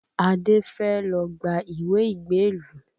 Adé fẹ́ lọ gba ìwé ìgbélú